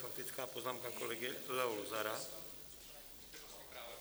Faktická poznámka kolegy Leo Luzara.